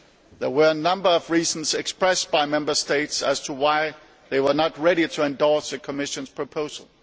There were a number of reasons expressed by Member States as to why they were not ready to endorse the Commission's proposal.